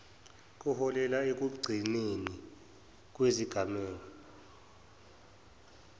kuholele ekuncipheni kwezigameko